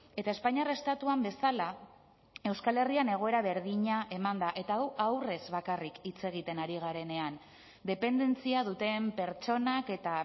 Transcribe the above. eta espainiar estatuan bezala euskal herrian egoera berdina eman da eta hau haurrez bakarrik hitz egiten ari garenean dependentzia duten pertsonak eta